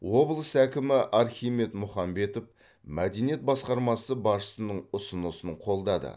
облыс әкімі архимед мұхамбетов мәдениет басқармасы басшысының ұсынысын қолдады